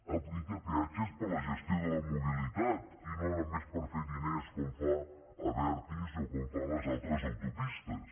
aplica peatges per a la gestió de la mobilitat i no només per fer diners com fa abertis o com fan les altres autopistes